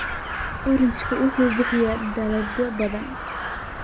Orange wuxuu bixiyaa dalagyo badan.